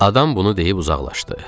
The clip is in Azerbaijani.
Adam bunu deyib uzaqlaşdı.